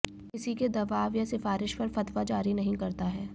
किसी के दवाब या सिफारिश पर फतवा जारी नहीं करता है